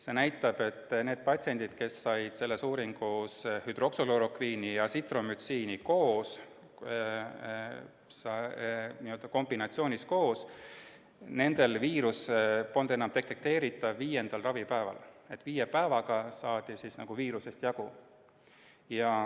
See näitab, et nendel patsientidel, kes said selles uuringus hüdroksüklorokviini ja Azithromycini koos, n-ö kombinatsioonis koos, polnud viirus viiendal ravipäeval enam detekteeritav, st viie päevaga saadi viirusest jagu.